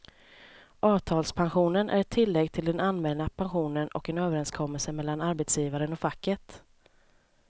Avtalspensionen är ett tillägg till den allmänna pensionen och en överenskommelse mellan arbetsgivaren och facket.